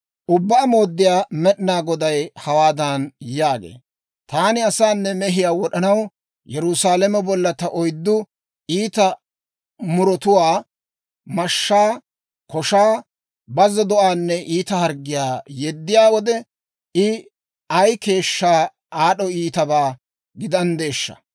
Ubbaa Mooddiyaa Med'inaa Goday hawaadan yaagee; «Taani asaanne mehiyaa wod'anaw Yerusaalame bolla ta oyddu iita murotuwaa, mashshaa, koshaa, bazzo do'aanne iita harggiyaa yeddiyaa wode, I ay keeshshaa aad'd'o iitabaa gidanddeeshsha!